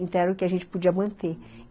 Então, era o que a gente podia manter, uhum.